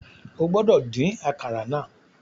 O gbọdọ din àkàrà náà